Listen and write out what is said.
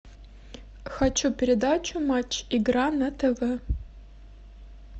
хочу передачу матч игра на тв